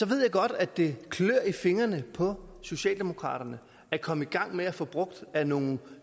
ved jeg godt at det klør i fingrene på socialdemokraterne at komme i gang med at få brugt af nogle